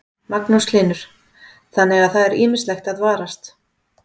Magnús Hlynur: Þannig að það er ýmislegt að varast?